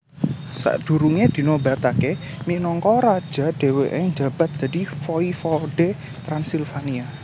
Sadurunge dinobatake minangka raja dheweke njabat dadi Voivode Transilvania